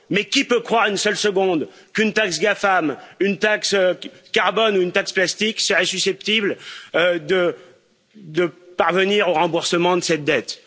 Mais qui peut croire une seule seconde qu'une taxe GAFAM, une taxe carbone ou une taxe plastique seraient susceptibles de parvenir au remboursement de cette dette?